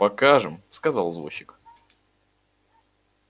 покажем сказал извозчик